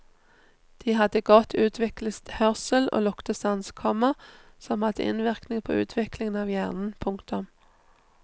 De hadde godt utviklet hørsel og luktesans, komma som hadde innvirkning på utviklingen av hjernen. punktum